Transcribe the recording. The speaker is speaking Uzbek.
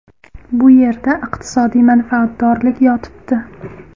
Bu yerda iqtisodiy manfaatdorlik yotibdi.